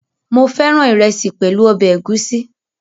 Mo féràn ìrẹsì pẹ̀lú ọbẹ̀ ẹ̀gúsí